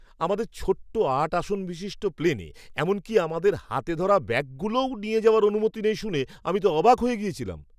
আমাদের ছোট্ট আট আসন বিশিষ্ট প্লেনে এমনকি আমাদের হাতে ধরা ব্যাগগুলোও নিয়ে যাওয়ার অনুমতি নেই শুনে আমি তো অবাক হয়ে গিয়েছিলাম!